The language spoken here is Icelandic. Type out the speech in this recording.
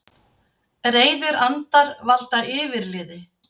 Reiðir andar valda yfirliði